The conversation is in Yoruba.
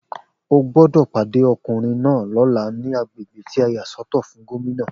O gbódò pàdé ọkùnrin náà lóla ní agbègbè tí a yà sọ́tọ̀ fún Gómìnà